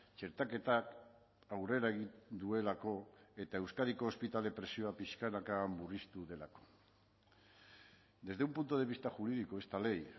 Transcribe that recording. txertaketak aurrera egin duelako eta euskadiko ospitale presioa pixkanaka murriztu delako desde un punto de vista jurídico esta ley